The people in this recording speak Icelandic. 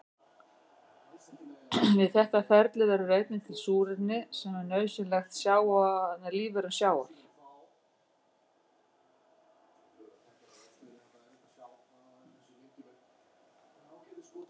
Við þetta ferli verður einnig til súrefni sem er nauðsynlegt lífverum sjávar.